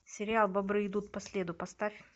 сериал бобры идут по следу поставь